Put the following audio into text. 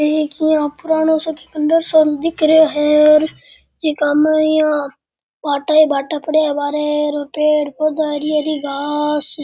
ये है की पुरानो सो खण्डर सो दिख रेहो है जीका माय यहाँ भाटा ही भाटा पड़या है बाहारे पेड़ पौधो हरी हरी घास।